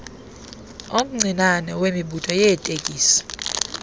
omncinane wemibutho yeetekisi